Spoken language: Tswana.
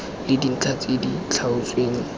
le dintlha tse di tlhaotsweng